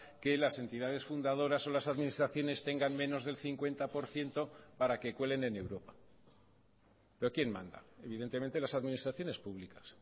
que las entidades fundadoras o las administraciones tengan menos del cincuenta por ciento para que cuelen en europa pero quién manda evidentemente las administraciones públicas